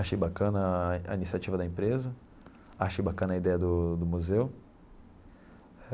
Achei bacana a a iniciativa da empresa, achei bacana a ideia do do Museu.